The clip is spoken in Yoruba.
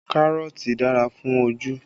Kárọ̀tì dára fún ojú